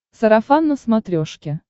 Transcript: сарафан на смотрешке